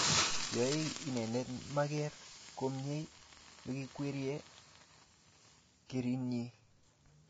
yae inenendet mageer komnyei yoikwerie karinyi